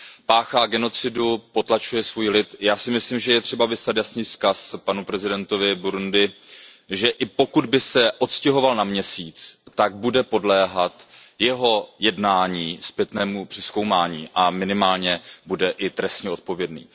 Páchá genocidu, potlačuje svůj lid, já si myslím, že je třeba vyslat jasný vzkaz panu prezidentovi Burundi, že i pokud by se odstěhoval na Měsíc, tak bude podléhat jeho jednání zpětnému přezkoumání a minimálně bude i trestně odpovědný.